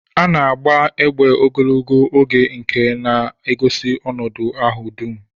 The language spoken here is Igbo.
A na-agba egbe ogologo oge nke na-egosi ọnọdụ ahụ dum.